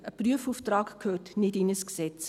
Ein Prüfauftrag gehört nicht in ein Gesetz.